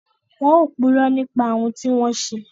Wọn ò purọ́ nípa ohùn tí wọ́n ń ṣe